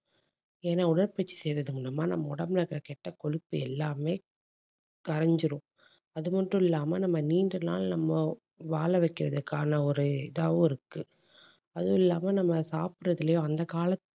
ஏன்னா உடற்பயிற்சி செய்யறது மூலமா நம்ம உடம்புல இருக்கிற கெட்ட கொழுப்பு எல்லாமே கரைஞ்சிடும். அது மட்டும் இல்லாம நம்ம நீண்ட நாள் நம்ம வாழ வைக்கிறதுக்கான ஒரு இதாவும் இருக்கு. அதுவும் இல்லாம நம்ம சாப்பிடுறதுலயும் அந்த காலத்து